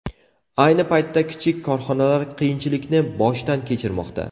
Ayni paytda kichik korxonalar qiyinchilikni boshdan kechirmoqda.